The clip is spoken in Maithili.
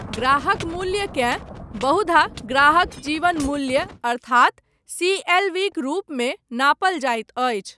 ग्राहक मूल्यकेँ बहुधा ग्राहक जीवन मूल्य अर्थात सी.एल.वी.क रूपमे नापल जाइत अछि।